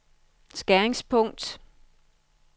skæringspunkt